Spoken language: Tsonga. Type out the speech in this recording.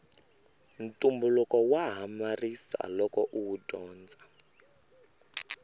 ntumbuluko wa hamarisa loko uwu dyondza